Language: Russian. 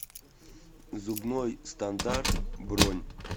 зубной стандарт бронь